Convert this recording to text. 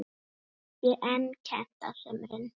Ekki er kennt á sumrin.